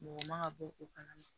Mɔgɔ man ka bɔ o kalama